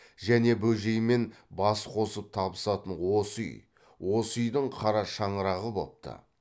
және бөжеймен бас қосып табысатын осы үй осы үйдің қара шаңырағы бопты